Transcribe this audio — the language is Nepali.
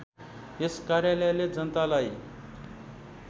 यस कार्यालयले जनतालाई